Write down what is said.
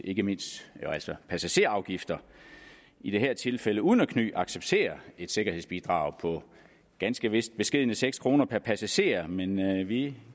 ikke mindst altså passagerafgifter i det her tilfælde uden at kny accepterer et sikkerhedsbidrag på ganske vist beskedne seks kroner per passager men vi